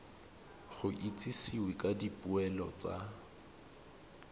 go itsisiwe ka dipoelo tsa